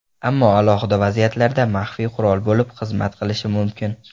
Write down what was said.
Ammo alohida vaziyatlarda maxfiy qurol bo‘lib xizmat qilishi mumkin.